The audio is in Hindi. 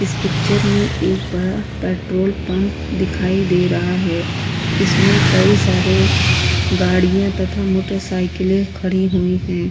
इस पिक्चर में एक बड़ा पेट्रोल पंप दिखाई दे रहा है। इसमें कई सारे गाड़ियां तथा मोटरसाइकिलें खड़ी हुई हैं।